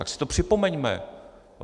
Tak si to připomeňme.